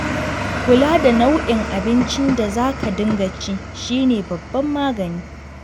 Kula da nau'in abincin da za ka dinga ci shi ne babban magani.